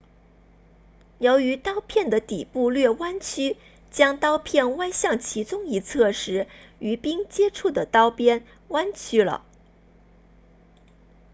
由于刀片的底部略弯曲当刀片歪向其中一侧时与冰接触的刀边弯曲了